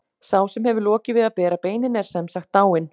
Sá sem hefur lokið við að bera beinin er sem sagt dáinn.